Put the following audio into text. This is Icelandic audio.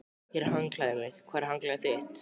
Hér er handklæðið mitt. Hvar er handklæðið þitt?